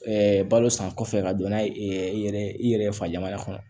balo san kɔfɛ ka don n'a ye i yɛrɛ i yɛrɛ fa jamana kɔnɔ